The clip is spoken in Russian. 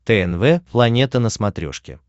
тнв планета на смотрешке